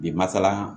Bi masala